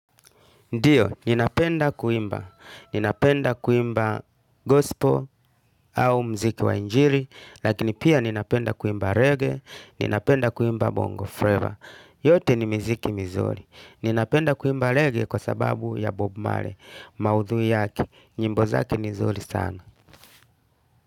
Ndiyo, ninapenda kuimba, ninapenda kuimba gospel au mziki wa injili, lakini pia ninapenda kuimba reggae, ninapenda kuimba bongo flavour. Yote ni miziki mizuri. Ninapenda kuimba reggae kwa sababu ya bob marley, maudhui yake, nyimbo zake ni nzuri sana.